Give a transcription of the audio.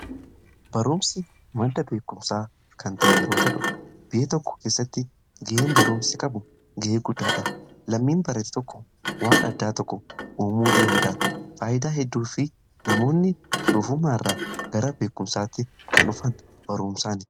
Barumsi madda beekumsaa kan ta'e yeroo ta'u biyya tokko keessatti ga'een barumsi qabu ga'ee guddaadha. Lammiin barate tokko waan addaa tokko uumuu danda'a. Faayidaa hedduu fi namoonni doofummaa irraa gara beekumsaatti kan dhufan barumsaani.